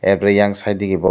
aag riyang side digi borok.